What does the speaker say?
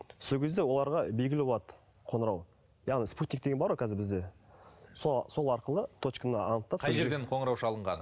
сол кезде оларға белгілі болады қоңырау яғни спутниктегі бар ғой бізде сол арқылы точканы анықтап қай жерден қоңырау шалынғаны